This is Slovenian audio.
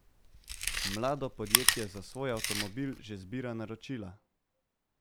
Mlado podjetje za svoj avtomobil že zbira naročila.